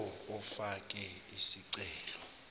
lowo ofake isicelo